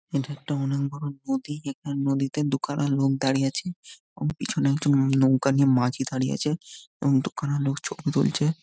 এটা একটা অনেক বড়ো নদী এখানে নদীতে দু খানা লোক দাঁড়িয়ে আছে | এবং এখানে একজন নৌকা নিয়ে মাঝি দাঁড়িয়ে আছে | এবং দু খানা লোক ছবি তুলছে ।